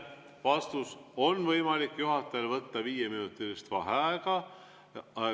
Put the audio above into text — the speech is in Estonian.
Vastus: on võimalik juhatajal võtta viieminutilist vaheaega.